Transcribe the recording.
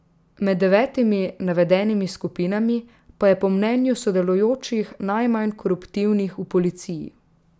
Med devetimi navedenimi skupinami pa je po mnenju sodelujočih najmanj koruptivnih v policiji.